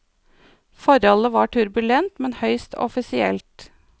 Forholdet var turbulent, men høyst offisielt.